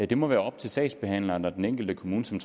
det må være op til sagsbehandleren og den enkelte kommune som